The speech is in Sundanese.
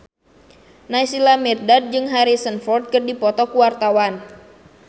Naysila Mirdad jeung Harrison Ford keur dipoto ku wartawan